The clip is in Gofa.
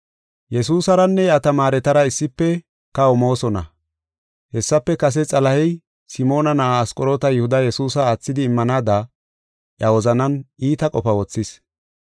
Yesuusaranne iya tamaaretara issife kaho moosona. Hessafe kase Xalahey Simoona na7aa Asqoroota Yihudi Yesuusa aathidi immanaada iya wozanan iita qofa wothis.